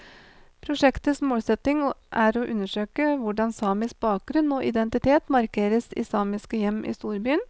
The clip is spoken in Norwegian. Prosjektets målsetning er å undersøke hvordan samisk bakgrunn og identitet markeres i samiske hjem i storbyen.